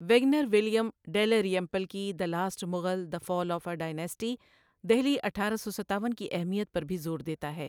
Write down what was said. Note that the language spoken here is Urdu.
ویگنر ولیم ڈیلریمپل کی the last Mughal the fall of a dynasty, Delhi اٹھارہ سو ستاون کی اہمیت پر بھی زور دیتا ہے۔